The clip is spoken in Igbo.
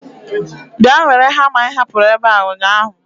Bịa were hama ị hapụrụ ebe a ụnyaahụ.